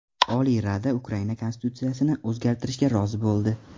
Oliy Rada Ukraina Konstitutsiyasini o‘zgartirishga rozi bo‘ldi.